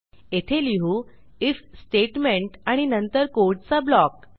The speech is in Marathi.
येथे लिहू आयएफ स्टेटमेंट आणि नंतर कोडचा ब्लॉक